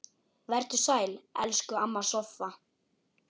Vertu sæl, elsku amma Soffa.